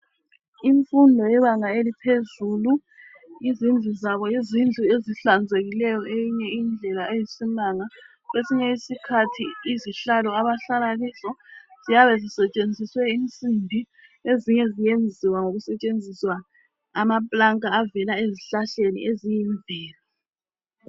Imfundo yebanga eliphezulu izindluzaba yizindlu ezihlanzekileyo okwenye indlela eyisimanga kwesinye isikhathi izihlalo abahlalakizo ziyabe zisetshenziswe imsimbi ezinye ziyenziwa ngokusetshenziswa amaplanka avela ezihlahleni eziyimvelo